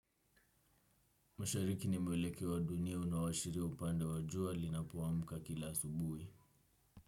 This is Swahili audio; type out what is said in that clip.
Mashariki ni mwelekeo wa dunia unaoashiria upande wa jua linapoamka kila asubuhi.